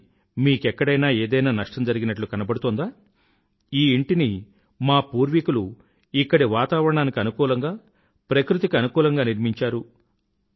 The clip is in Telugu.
కానీ మీకెక్కడైనా ఏదైనా నష్టం జరిగినట్లు కనబడుతోందా ఈ ఇంటిని మా పూర్వీకులు ఇక్కడి వాతావరణానికి అనుకూలంగా ప్రకృతికి అనుకూలంగా నిర్మించారు